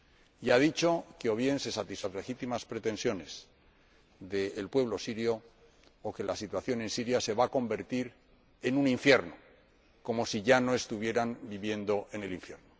Y ha dicho que o se satisfacen las legítimas pretensiones del pueblo sirio o la situación en Siria se va a convertir en un infierno como si no estuvieran ya viviendo en el infierno.